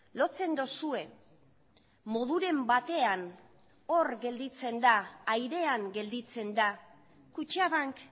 lotzen duzue moduren batean hor gelditzen da airean gelditzen da kutxabank